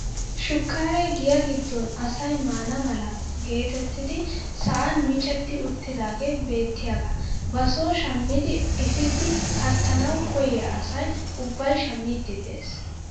Shukkaaree giyaa giddon asay maana mala getettidi sa'an micetti uttidagee beettiyaagaa ba soo shammidi ipiidi kattanawu koyiyaa asay ubbay shammiidi de'ees.